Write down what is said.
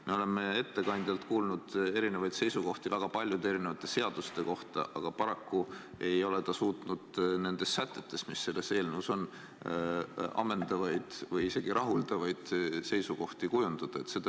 Me oleme ettekandjalt kuulnud erinevaid seisukohti väga paljude erinevate seaduste kohta, aga paraku ei ole ta suutnud nende sätete kohta, mis on selles eelnõus, ammendavaid ega isegi mitte rahuldavaid seisukohti kujundada.